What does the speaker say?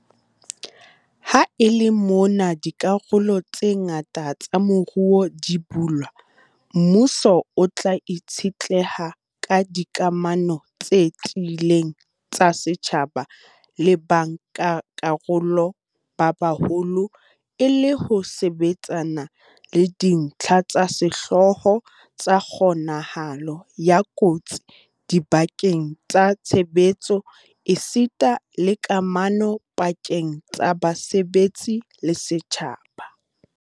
Ha e le mona dikarolo tse ngata tsa moruo di bulwa, mmuso o tla itshetleha ka dikamano tse tiileng tsa setjhaba le bankakarolo ba baholo e le ho sebetsana le dintlha tsa sehlooho tsa kgo-nahalo ya kotsi dibakeng tsa tshebetso esita le kamano pa-keng tsa basebetsi le setjhaba.